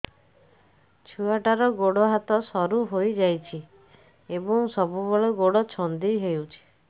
ଛୁଆଟାର ଗୋଡ଼ ହାତ ସରୁ ହୋଇଯାଇଛି ଏବଂ ସବୁବେଳେ ଗୋଡ଼ ଛଂଦେଇ ହେଉଛି